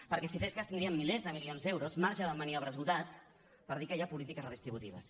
perquè si en fes cas tindríem milers de milions d’euros marge de maniobra esgotat per dir que hi ha polítiques redistributives